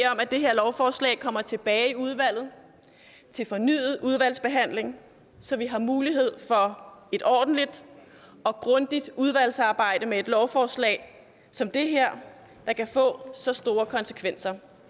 om at det her lovforslag kommer tilbage i udvalget til fornyet udvalgsbehandling så vi har mulighed for et ordentligt og grundigt udvalgsarbejde med et lovforslag som det her der kan få så store konsekvenser